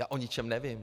Já o ničem nevím.